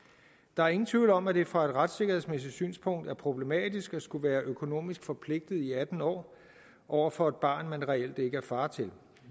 der er ingen tvivl om at det fra et retssikkerhedsmæssigt synspunkt er problematisk at skulle være økonomisk forpligtet i atten år over for et barn man reelt ikke er far til